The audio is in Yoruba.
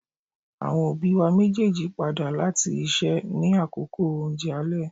Awọn obi wa mejeeji pada lati iṣẹ ni akoko ounjẹ alẹ